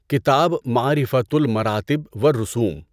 کتاب مَعرِفَۃُ المَراتِب وَ الرُسُوم